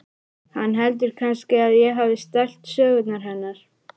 Hann heldur kannski að ég hafi stælt sögurnar hennar.